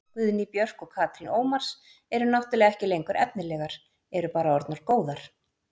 Guðný Björk og Katrín Ómars eru náttúrulega ekki lengur efnilegar, eru bara orðnar góðar.